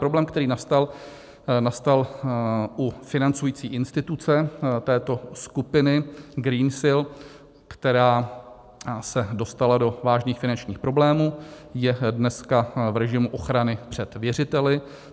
Problém, který nastal, nastal u financující instituce této skupiny Greensill, která se dostala do vážných finančních problémů, je dneska v režimu ochrany před věřiteli.